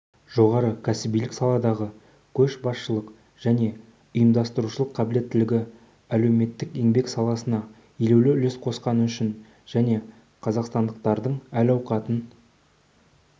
жоғары кәсібилік саладағы көшбасшылық және ұйымдастырушылық қабілеттілігі әлеуметтік-еңбек саласына елеулі үлес қосқаны үшін және қазақстандықтардың әл-ауқатын